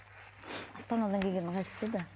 астанадан келгені қайсысы еді